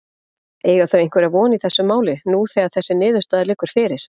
Eiga þau einhverja von í þessu máli nú þegar þessi niðurstaða liggur fyrir?